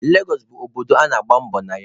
Legọsụ bụ obodo a na-agba mbọ na ya.